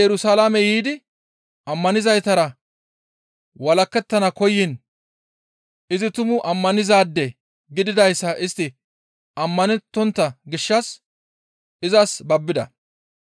Sa7ooli Yerusalaame yiidi ammanizaytara walakettana koyiin izi tumu ammanizaade gididayssa istti ammanettontta gishshas izas babbida.